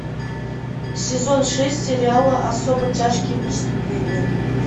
сезон шесть сериала особо тяжкие преступления